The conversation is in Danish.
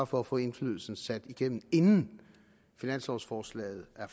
for at få indflydelsen sat igennem inden finanslovforslaget er